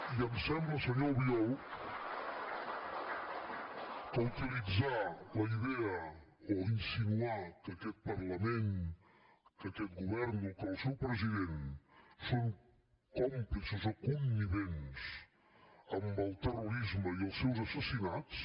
i em sembla senyor albiol que utilitzar la idea o insinuar que aquest parlament que aquest govern o que el seu president són còmplices o connivents amb el terrorisme i els seus assassinats